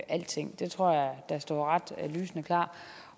alting det tror jeg står ret lysende klart